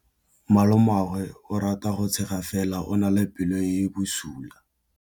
Malomagwe o rata go tshega fela o na le pelo e e bosula.